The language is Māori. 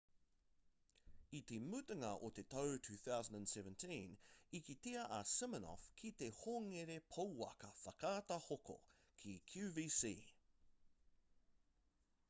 i te mutunga o te tau 2017 i kitea a siminoff ki te hongere pouaka whakaata hoko ki qvc